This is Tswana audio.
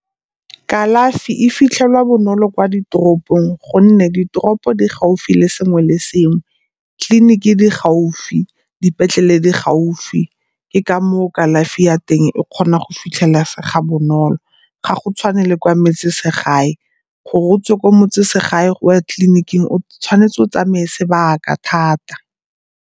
Kalafi e fitlhelwa bonolo kwa ditoropong gonne ditoropo di gaufi le sengwe le sengwe. Tleiniki di gaufi, dipetlele di gaufi ke ka moo kalafi ya teng e kgona go fitlhelesega bonolo ga go tshwane le kwa metseselegae. Gore o tswe kwa motseselegae o ye tleliniking o tshwanetse o tsamaye sebaka thata.